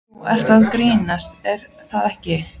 Þú ert að grínast er það ekki?